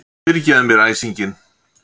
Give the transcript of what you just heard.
Fyrirgefðu mér æsinginn.